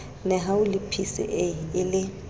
nehawu le psa e le